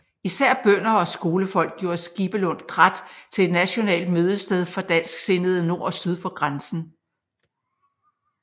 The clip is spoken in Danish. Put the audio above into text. Især bønder og skolefolk gjorde Skibelund Krat til et nationalt mødested for dansksindede nord og syd for grænsen